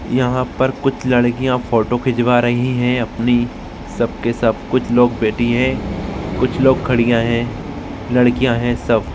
यहाँ पर कुछ लड्कीया फोटो खिचवा रही है अपनी सब के सब कुछ लोग बैठी है कुछ लोग खड़िया है लड्कीया है सब।